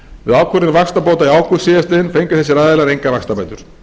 við ákvörðun vaxtabóta í ágúst síðastliðinn fengu þessir aðilar engar vaxtabætur